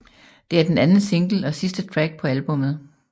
Det er den anden single og sidste track på albummet